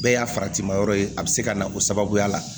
Bɛɛ y'a faratima yɔrɔ ye a bɛ se ka na o sababuya la